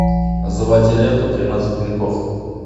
заводи ленту тринадцать грехов